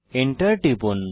Enter লিখুন